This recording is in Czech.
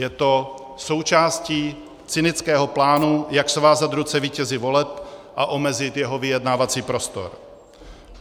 Je to součástí cynického plánu, jak svázat ruce vítězi voleb a omezit jeho vyjednávací prostor.